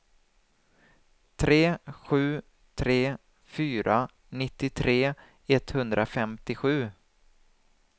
tre sju tre fyra nittiotre etthundrafemtiosju